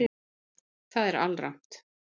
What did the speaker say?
Það er alrangt